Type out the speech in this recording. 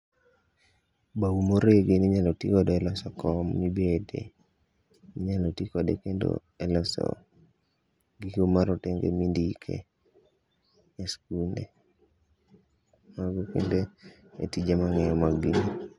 Bau moregi eminyalo tiigo e loso kom mibete. Inyalo tii kode kendo e loso marotenge monidke e skunde. Mago kende e tije mang'eyo mar gini.